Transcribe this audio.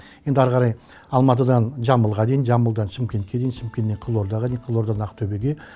енді ары қарай алматыдан жамбылға дейін жамбылдан шымкентке дейін шымкенттен қызылордаға дейін қызылордадан ақтөбеге